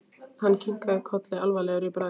Hann kinkaði kolli alvarlegur í bragði.